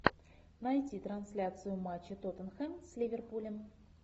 найти трансляцию матча тоттенхэм с ливерпулем